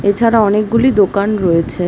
এছাড়া অনেকগুলি দোকান রয়েছে ।